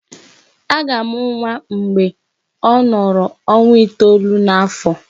A ga-amụ nwa mgbe ọ nọrọ ọnwa itolu n'afọ.